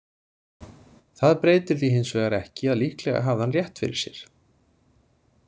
Það breytir því hins vegar ekki að líklega hafði hann rétt fyrir sér.